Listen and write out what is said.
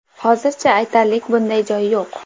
Hozircha aytarlik bunday joy yo‘q.